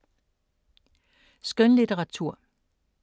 Skønlitteratur